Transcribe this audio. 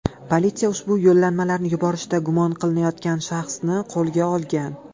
Politsiya ushbu yo‘llanmalarni yuborishda gumon qilinayotgan shaxsni qo‘lga olgan.